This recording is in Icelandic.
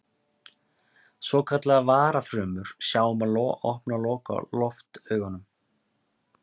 Svokallaðar varafrumur sjá um að opna og loka loftaugunum.